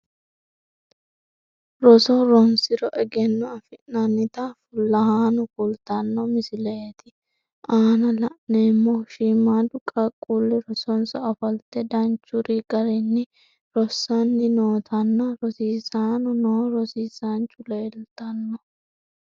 Roso ronsiro ageno afi'nannita fulahaano kultano misilete aanna la'neemohu shiimaadu qaaquuli rosonsa ofolte danchuri garinni rosanni nootanna rosiisanni noo rosiisaancho leelitano.